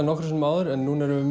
nokkrum sinnum áður en núna erum við